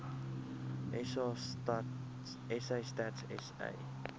sa stats sa